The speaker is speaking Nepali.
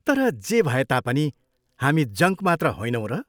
तर जे भए तापनि हामी जङ्क मात्र होइनौँ र?